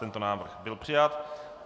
Tento návrh byl přijat.